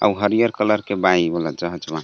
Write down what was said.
अउर हरिहर कलर के बा एगो .]